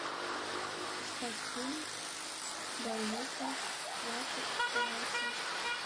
искать фильм барвиха двадцать вторая часть